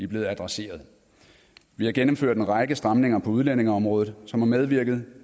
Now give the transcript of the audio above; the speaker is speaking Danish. blevet adresseret vi har gennemført en række stramninger på udlændingeområdet som har medvirket